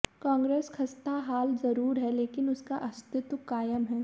कांग्रेस खस्ताहाल जरूर है लेकिन उसका अस्तित्व कायम है